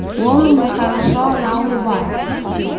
он не хорошо она улыбается